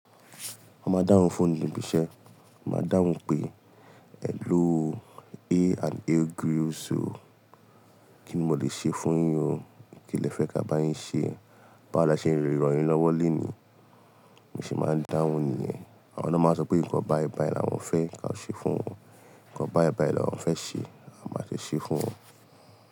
A máa dáhùn fóònù níbi iṣẹ́, a máa dáhùn pé, "hello o, a and a grills o, kíni mo lè ṣe fún yín o? Kí le fẹ́ ká bá yín ṣe? Báwo ni a ṣe le ràn yín lọ́wọ́ lenìí?" Mo se máa ń dáhùn nìyẹn. Àwọn lo ń máa sọ pé nǹkan báìbàì làwọn fẹ́ ká ṣe fún wọn, nǹkan báìbàì làwọn fẹ́ ṣe, a máa sì ṣe é fún wọn.